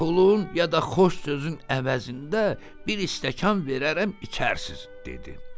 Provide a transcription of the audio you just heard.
Pulun ya da xoş sözün əvəzində bir stəkan verərəm, içərsiniz," dedi.